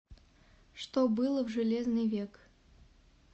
что было в железный век